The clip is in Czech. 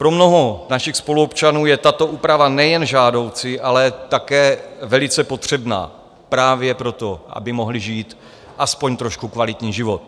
Pro mnoho našich spoluobčanů je tato úprava nejen žádoucí, ale také velice potřebná právě proto, aby mohli žít aspoň trošku kvalitní život.